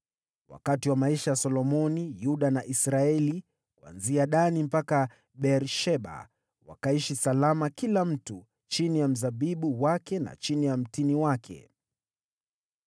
Wakati wa maisha ya Solomoni Yuda na Israeli, kuanzia Dani mpaka Beer-Sheba, wakaishi salama kila mtu chini ya mzabibu wake na chini ya mtini wake.